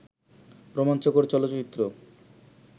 রোমাঞ্চকর চলচ্চিত্র